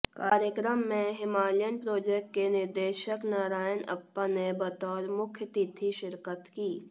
कार्यक्रम में Himalayan project के निदेशक नारायण अप्पा ने बतौर मुख्यातिथि शिरकत की